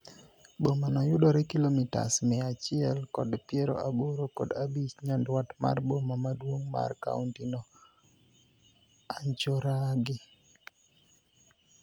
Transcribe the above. Bomano yudore kilomitas mia achiel kod piero aboro kod abich nyandwat mar boma maduong mar kaunti no, Anchorage.